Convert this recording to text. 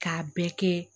K'a bɛɛ kɛ